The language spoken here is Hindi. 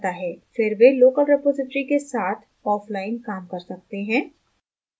फिर वे local रिपॉज़िटरी के साथ offline काम कर सकते हैं